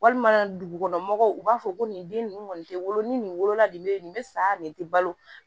Walima dugumɔgɔw u b'a fɔ ko nin den ninnu kɔni tɛ wolo ni nin wolola nin bɛ ye nin bɛ sa nin tɛ balo